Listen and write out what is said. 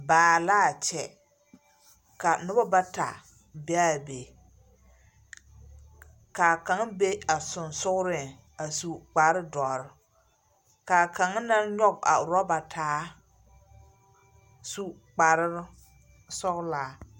Baa laa kyɛ. Ka noba bata bea be. Kaa kaŋa be a sɔnsɔgree su kpardɔre. Kaa kaŋ na nyɔg a oroba taa, su kparo sɔglaa.